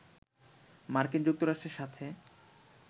মার্কিন যুক্তরাষ্ট্রের সাথে